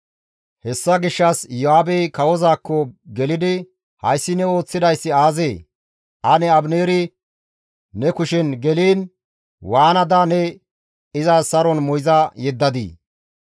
Hessa gishshas Iyo7aabey kawozaakko gelidi, «Hayssi ne ooththidayssi aazee? Ane Abineeri ne kushen geliin waanada ne iza saron moyza yeddadii?